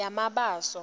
yamabaso